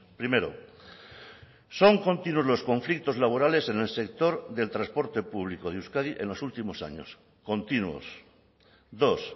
primero son continuos los conflictos laborales en el sector del transporte público de euskadi en los últimos años continuos dos